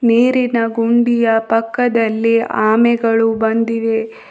ನೀರಿನ ಗುಂಡಿಯ ಪಕ್ಕದಲ್ಲಿ ಆಮೆಗಳು ಬಂದಿವೆ.